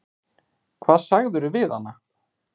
Hvað sagðirðu við hana?